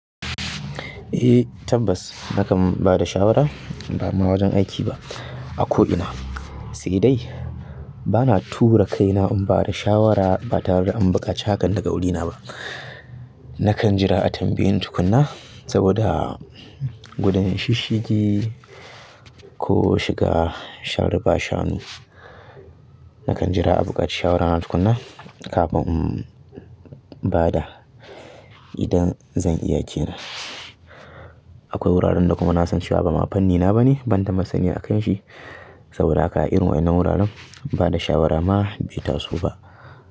Eh tabbas nakan ba da shawara, ba ma wajen aiki ba. A ko ina. Sai dai bana tura kaina in ba da shawara ba tare da in buƙaci hakan daga wurina ba. Nakan jira a tambaye ni tukunna saboda gudun shisshigi ko shiga sharri bashanu. Nakan jira a buƙaci shawarana tukuna kafin in ba da idan zan iya ke nan. Akwai wuraren da kuma na san cewa ba ma fannina ba ne ban da masani a kan shi saboda haka a irin wannan wuraren ba da shawara ma bai taso ba.